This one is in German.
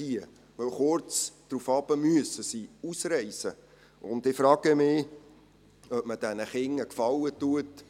Denn kurz darauf müssen sie ausreisen, und ich frage mich, ob man diesen Kindern einen Gefallen tut.